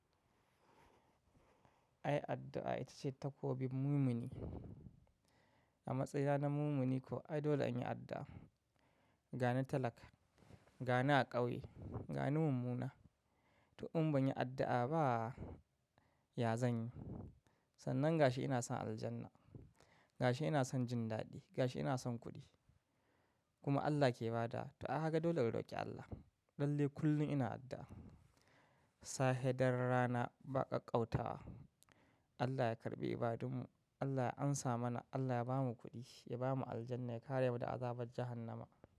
Ai addu'a ita ce takobin mumini. A matsayina na mumini ko ai dole in yi addu'a. Ga ni talaka, ga ni a kauye, ga ni mummuna. To in ban yi addu'a ba ya zanyi. Sannan ga shi ina son aljanna, ga shi ina son jin daɗi, ga shi ina son kuɗi. Kuma Allah ke ba da, to a haka dole na roƙi Allah. Lalle kullum ina addu'a. Sahe dare rana ba ƙaƙƙautawa. Allah ya karɓe ibadunmu, Allah ya amsa mana, Allah ya bamu kuɗi, ya bamu aljanna, ya kare mu da azabar jahannama.